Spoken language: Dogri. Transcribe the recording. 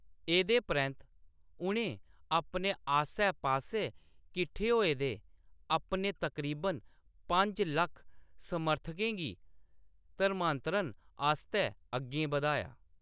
एह्‌‌‌दे परैंत्त उʼनें अपने आस्सै-पास्सै किट्ठे होए दे अपने तकरीबन पंज लक्ख समर्थकें गी धर्मांतरण आस्तै अग्गें बधाया।